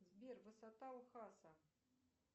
сбер высота ухаса